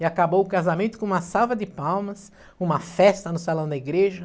E acabou o casamento com uma salva de palmas, uma festa no salão da igreja.